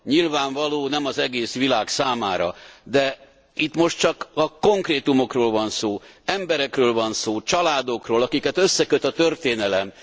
Nyilvánvaló, hogy nem az egész világ számára, de itt most csak a konkrétumokról van szó, emberekről van szó, családokról, akiket összeköt a történelem.